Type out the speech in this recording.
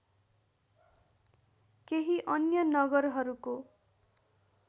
केही अन्य नगरहरूको